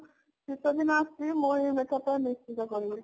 ଶୀତ ଦିନ ଆସୁଛି ମୁଁ ଏଥର ନିଶ୍ଚିନ୍ତ କରିବି